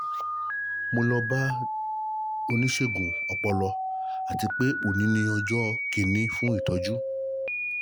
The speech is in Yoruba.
mo lọ́ bá oníṣègùn ọpọlọ àti pé oní ni ọjọ́ kìini fún ìtọ́jú